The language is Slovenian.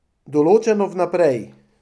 Določeno vnaprej.